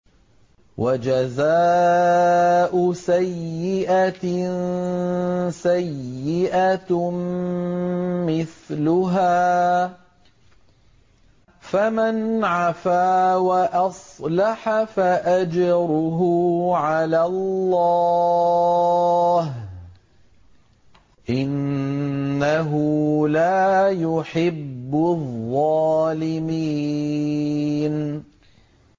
وَجَزَاءُ سَيِّئَةٍ سَيِّئَةٌ مِّثْلُهَا ۖ فَمَنْ عَفَا وَأَصْلَحَ فَأَجْرُهُ عَلَى اللَّهِ ۚ إِنَّهُ لَا يُحِبُّ الظَّالِمِينَ